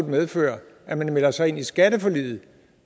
medføre at man melder sig ind i skatteforliget